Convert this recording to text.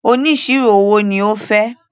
Oníṣirò owó ni ó fẹ́.